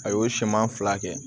A y'o siman fila kɛ